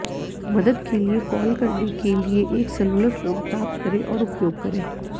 मदद के लिए कॉल करने के लिए एक सेलुलर फोन प्राप्त करें और उपयोग करें